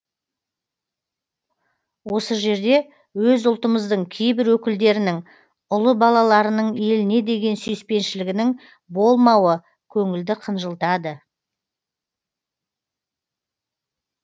осы жерде өз ұлтымыздың кейбір өкілдерінің ұлы балаларының еліне деген сүйіспеншілігінің болмауы көңілді қынжылтады